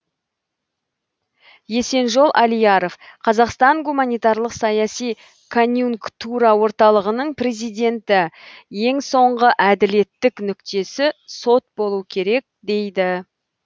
есенжол алияров қазақстан гуманитарлық саяси конъюнктура орталығының президенті ең соңғы әділеттік нүктесі сот болу керек дейді